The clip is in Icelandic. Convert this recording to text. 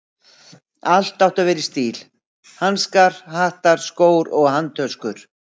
Allt átti að vera í stíl: hanskar, hattar, skór og handtöskur.